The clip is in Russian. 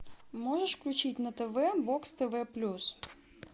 можешь включить на тв бокс тв плюс